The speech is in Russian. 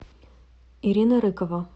ирина рыкова